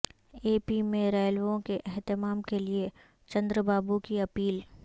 اے P میں ریلیوں کے اہتمام کے لئے چندرابابو کی اپیل